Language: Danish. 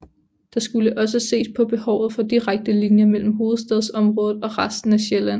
Der skulle også ses på behovet for direkte linjer mellem Hovedstadsområdet og resten af Sjælland